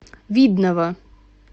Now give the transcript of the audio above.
видного